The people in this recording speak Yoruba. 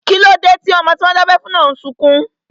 Kíló dé tí ọmọ tí wọ́n dábẹ́ fún náà n sọkún?